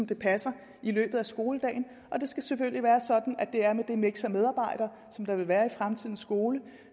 det passer i løbet af skoledagen og det skal selvfølgelig være sådan at det er med det miks af medarbejdere som der vil være i fremtidens skole